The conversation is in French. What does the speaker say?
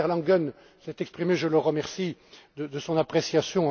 dérivés. Werner Langen s'est exprimé, je le remercie de son appréciation.